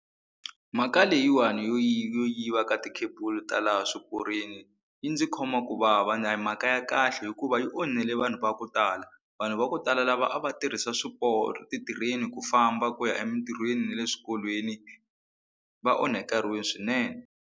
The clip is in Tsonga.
Mhaka leyiwani yo yo yiva ka ti-cable ta laha swiporweni yi ndzi khoma ku vava and a hi mhaka ya kahle hikuva yi onhile vanhu va ku tala vanhu va ku tala lava a va tirhisa swiporo ti-train ku famba ku ya emintirhweni ne le swikolweni va onhakeriwile swinene.